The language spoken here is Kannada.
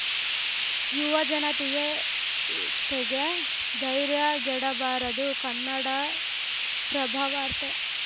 ಯುವಜನತೆಗೆ ತೆಗೆ ಧೈರ್ಯಗೆಡಬಾರದು ಕನ್ನಡಪ್ರಭ ವಾರ್ತೆ